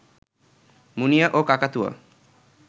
মুনিয়া ও কাকাতুয়া